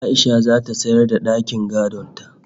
A'isha zata sayar da dakin gadon ta